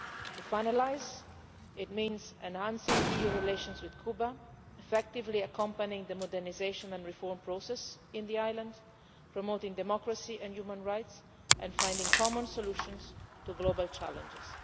To sum up, it means enhancing EU relations with Cuba, effectively accompanying the modernisation and reform process on the island, promoting democracy and human rights and finding common solutions to global challenges.